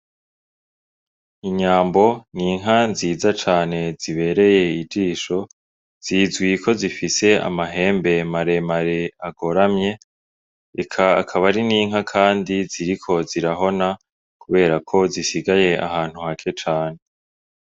Inyambo n'inka nziza cane zibereye ijisho zizwi ko zifise amahembe maremare agoramye eka akaba ari n'inka ziriko zirahona kuberako zisigaye ahantu hake cane.